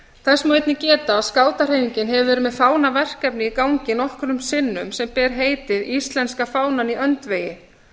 þess má einnig geta að skátahreyfingin hefur verið með fánaverkefni í gangi nokkrum sinnum sem ber heitið íslenska fánann í öndvegi